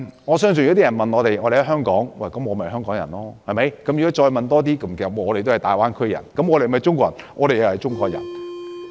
我相信如果有人問，我們在香港，我們便是香港人，如果再問深入一點，我們都是大灣區人，也是中國人。